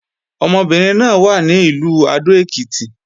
Ọmọbìnrin náà wà ní Ìlú Adó-Èkìtì